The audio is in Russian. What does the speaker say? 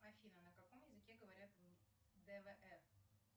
афина ка каком языке говорят в двр